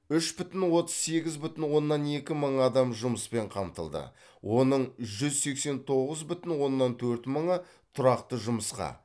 үш бүтін отыз сегіз бүтін оннан екі мың адам жұмыспен қамтылды оның жүз сексен тоғыз бүтін оннан төрт мыңы тұрақты жұмысқа